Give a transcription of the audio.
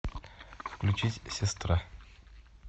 включить сестра